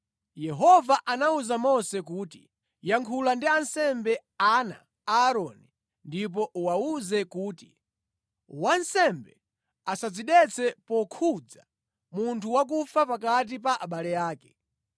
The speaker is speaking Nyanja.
Yehova anawuza Mose kuti, “Yankhula ndi ansembe, ana a Aaroni, ndipo uwawuze kuti, ‘Wansembe asadzidetse pokhudza munthu wakufa pakati pa abale ake.